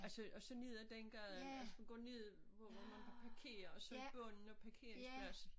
Altså og så ned af den gade altså du går ned på hvor man kan parkere og så i bunden af parkeringspladsen